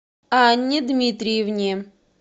анне дмитриевне